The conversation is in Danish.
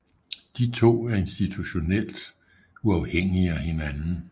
De to er institutionelt uafhængige af hinanden